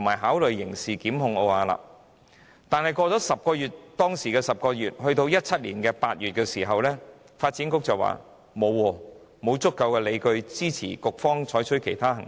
可是，事件經過10個月後，到了2017年8月，發展局卻說沒有足夠理據支持局方採取其他行動。